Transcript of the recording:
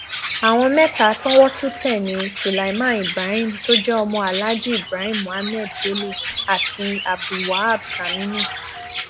àwọn mẹta tọwọ tún tẹ ní sulaiman ibrahim tó jẹ ọmọ aláàjí ibrahim muhammed bello àti abdulwaab saminu